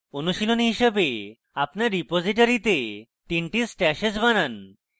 অনুশীলনী হিসাবে আপনার রিপোজিটরীতে তিনটি stashes বানান